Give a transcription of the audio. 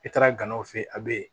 I taara ganaw fɛ a bɛ yen